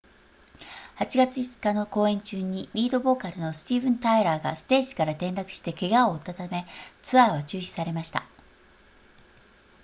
8月5日の公演中にリードボーカルのスティーヴンタイラーがステージから転落して怪我を負ったためツアーは中止されました